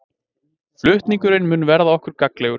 Flutningurinn mun verða okkur gagnlegur